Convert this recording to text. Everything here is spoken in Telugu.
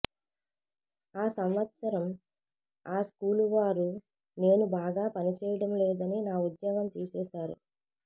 ఆ సంవత్సరం ఆ స్కూలువారు నేను బాగా పనిచేయడంలేదని నా ఉద్యోగం తీసేశారు